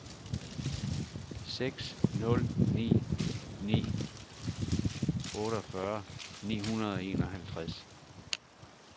seks nul ni ni otteogfyrre ni hundrede og enoghalvtreds